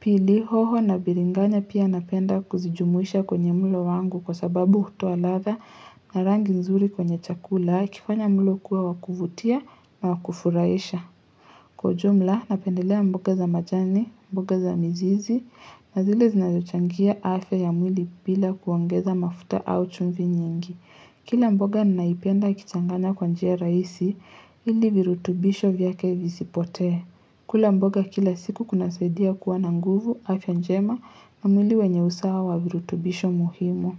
Pili hoho na biringanya pia napenda kuzijumuisha kwenye mlo wangu kwa sababu utoaalatha na rangi nzuri kwenye chakula ikifanya mulo kuwa wakuvutia na wakufurasha. Kwa jumla napendelea mboga za majani, mboga za mzizi, na zile zinazochangia afya ya mwili bila kuangoza mafuta au chumvi nyingi. Kila mboga ninaipenda ikichangana kwa njia rahisi ili virutubisho vyake vizipote. Kula mboga kila siku kunasaidia kuwana nguvu afya njema na mwili wenye usawa wa virutubisho muhimu.